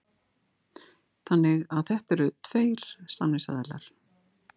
Þannig að þetta eru tveir samningsaðilar